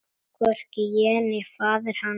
Hvorki ég né faðir hans.